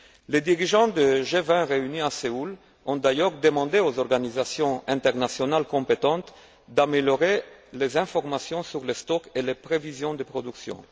Les dirigeants du G20 réunis à Séoul ont d'ailleurs demandé aux organisations internationales compétentes d'améliorer les informations sur les stocks et les prévisions de production.